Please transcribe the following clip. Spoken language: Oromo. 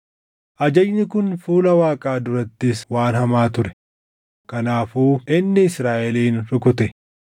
Ajajni kun fuula Waaqaa durattis waan hamaa ture; kanaafuu inni Israaʼelin rukute.